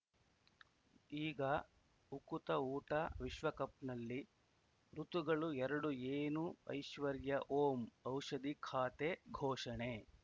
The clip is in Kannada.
ಈಗ ಉಕುತ ಊಟ ವಿಶ್ವಕಪ್‌ನಲ್ಲಿ ಋತುಗಳು ಎರಡು ಏನು ಐಶ್ವರ್ಯಾ ಓಂ ಔಷಧಿ ಖಾತೆ ಘೋಷಣೆ